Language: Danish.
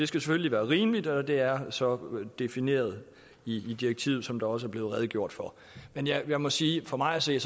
selvfølgelig være rimeligt og det er så defineret i direktivet som der også er blevet redegjort for men jeg må sige at for mig at se